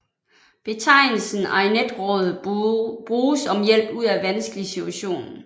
Betegnelsen ariadnetråd bruges om hjælp ud af vanskelig situation